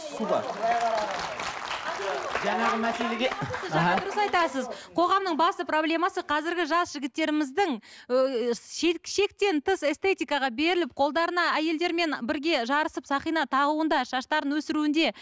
қоғамның басты проблемасы қазіргі жас жігіттеріміздің шектен тыс эстетикаға беріліп қолдарына әйелдермен бірге жарысып сақина тағуында шаштарын өсіруінде